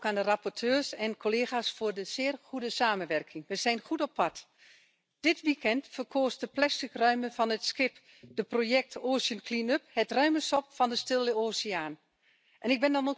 Je propose enfin d'ouvrir le nouveau corps européen de solidarité, que nous avons créé hier, à des projets basés sur le ramassage des déchets. Excusez moi d'avoir dépassé de 5 tonnes.